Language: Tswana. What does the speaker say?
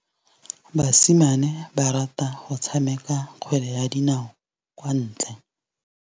Basimane ba rata go tshameka kgwele ya dinaô kwa ntle.